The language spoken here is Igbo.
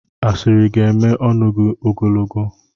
asịrị ga-eme ọnụ gị ogologo.